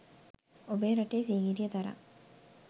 ඔබේ රටේ සීගිරිය තරම්